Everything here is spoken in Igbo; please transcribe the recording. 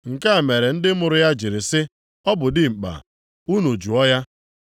Nke a mere ndị mụrụ ya jiri sị, “Ọ bụ dimkpa, unu jụọ ya.”